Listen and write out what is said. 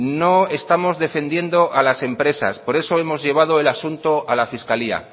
no estamos defendiendo a las empresas por eso hemos llevado el asunto a la fiscalía